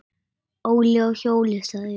Óli á hjól, sagði ég.